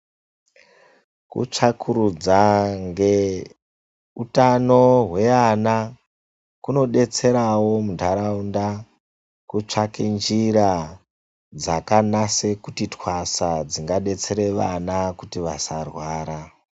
Kutsvakurudza ngeutano hweana kunodetserawo muntaraunda kutsvake njira dzakanase kuti twasa dzingadetsera vana kuti vasarwara.